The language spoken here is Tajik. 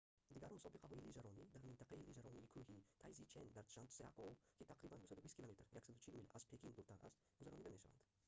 дигар мусобиқаҳои лижаронӣ дар минтақаи лижаронии кӯҳии тайзичэн дар чжантзякоу ки тақрибан 220 км 140 мил аз пекин дуртар аст гузаронида мешаванд